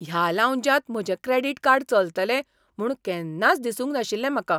ह्या लाऊंजांत म्हजें क्रेडीट कार्ड चलतलें म्हूण केन्नाच दिसूंक नाशिल्लें म्हाका!